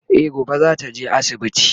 E gobe zata je asibiti